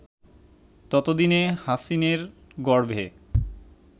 ততদিনে হাসিনের গর্ভে